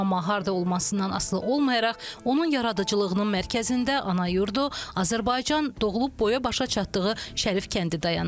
Amma harda olmasından asılı olmayaraq, onun yaradıcılığının mərkəzində ana yurdu Azərbaycan, doğulub boya-başa çatdığı Şərif kəndi dayanır.